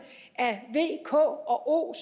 af v k og